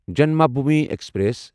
Janmabhoomi express